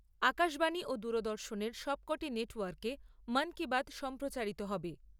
আকাশবাণী ও দূরদর্শনের সবকটি নেট ওয়ার্কে মন কি বাত সম্প্রচারিত হবে।